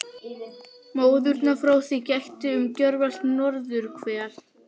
Móðunnar frá því gætti um gjörvallt norðurhvel.